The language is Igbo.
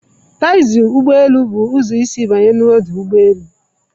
Taxi ọdụ ụgbọ elu bụ ụzọ isi banye na ọdụ ụgbọ elu